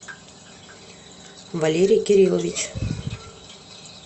валерий кириллович